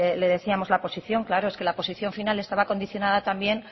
le decíamos la posición claro es que la posición final estaba condicionada también